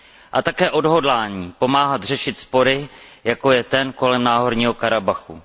A také odhodlání pomáhat řešit spory, jako je ten kolem Náhorního Karabachu.